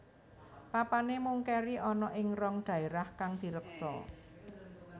Papané mung kéri ana ing rong dhaérah kang direksa